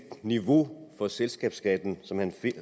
niveau for selskabsskatten